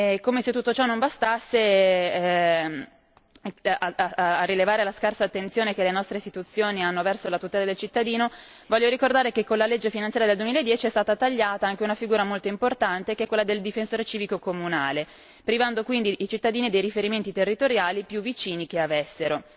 Come se tutto ciò non bastasse, a rilevare la scarsa attenzione che le nostre istituzioni hanno verso la tutela del cittadino, voglio ricordare che con la legge finanziaria del 2010 è stata tagliata anche una figura molto importante, che è quella del difensore civico comunale privando quindi i cittadini dei riferimenti territoriali più vicini che avessero.